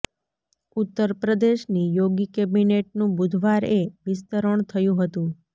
ઉત્તર પ્રદેશની યોગી કેબિનેટનું બુધવાર એ વિસ્તરણ થયું હતું